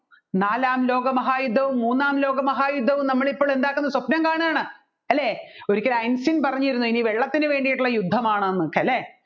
നാലാം ലോകമഹായുദ്ധവും മൂന്നാം ലോകമഹായുദ്ധവും നമ്മൾ ഇപ്പോൾ എന്താക്കുന്നു സ്വപ്നം കാണുകയാണ് ഒരിക്കൽ ഐൻസ്റ്റീൻ പറഞ്ഞിരുന്നു ഇനി വെള്ളത്തിന് വേണ്ടിയിട്ടുള്ളത് യുദ്ധമാണെന്നല്ലേ